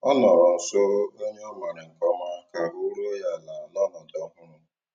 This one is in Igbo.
Ọ nọ̀rọ̀ nsó ònyè ọ́ mààra nkè ọ̀ma kà àhụ́ rùó ya àla n'ọnọ́dụ́ ọ̀hụrụ́.